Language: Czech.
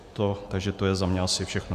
Takže to je za mě asi všechno.